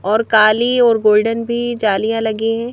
और काली और गोल्डन भी जालियां लगी हैं।